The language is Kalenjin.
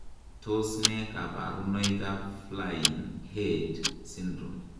Tos nee koborunoikab Flynn Aird syndrome?